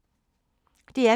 DR P2